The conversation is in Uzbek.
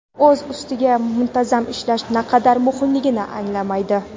o‘z ustida muntazam ishlash naqadar muhimligini anglamaydi.